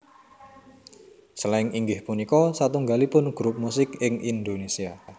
Slank inggih punika satunggalipun grup musik ing Indonesia